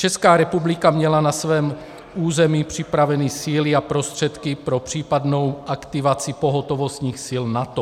Česká republika měla na svém území připraveny síly a prostředky pro případnou aktivaci pohotovostních sil NATO.